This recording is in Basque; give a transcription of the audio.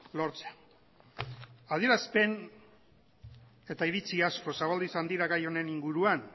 lortzea adierazpen eta iritzi asko zabaldu izan dira gai honen inguruan